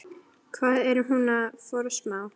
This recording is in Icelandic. Hvað er hún að forsmá?